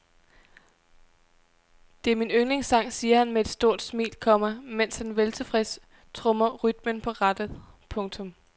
Det er min yndlingssang siger han med et stort smil, komma mens han veltilfreds trommer rytmen på rattet. punktum